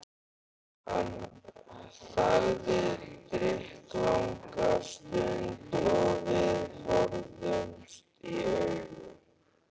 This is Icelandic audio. Hann þagði drykklanga stund og við horfðumst í augu.